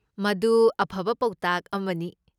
ꯃꯗꯨ ꯑꯐꯕ ꯄꯥꯎꯇꯥꯛ ꯑꯃꯅꯤ꯫